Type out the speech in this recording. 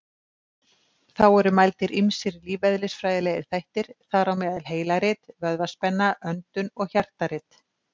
Þá eru mældir ýmsir lífeðlisfræðilegir þættir, þar á meðal heilarit, vöðvaspenna, öndun og hjartarit.